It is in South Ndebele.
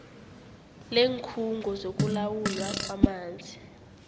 leenkhungo zokulawulwa kwamanzi